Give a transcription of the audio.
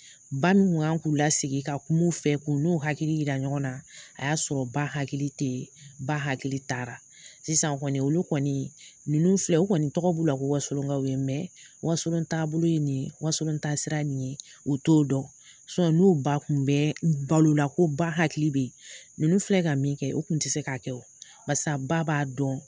Ba min tun kan k'u lasigi ka kuma u fɛ k'u n'u hakili jira ɲɔgɔn na a y'a sɔrɔ ba hakili tɛ yen ba hakili taara sisan kɔni olu kɔni ninnu filɛ u kɔni tɔgɔ b'u la ko wasolonkaw don wasolon taabolo ye nin wasolon taasira ye nin ye u t'o dɔn n'u ba tun bɛ balo la ko ba hakili bɛ yen ninnu filɛ ka min kɛ u tun tɛ se k'a kɛ o, basa ba b'a dɔn